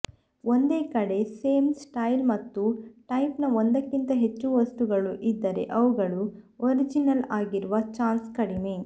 ಒಂದೇ ಕಡೆ same style ಮತ್ತು ಟೈಪ್ನ ಒಂದಕ್ಕಿಂತ ಹೆಚ್ಚು ವಸ್ತುಗಳು ಇದ್ದರೆ ಅವುಗಳು ಒರಿಜಿನಲ್ ಆಗಿರುವ ಛಾನ್ಸ್ ಕಡಿಮೆ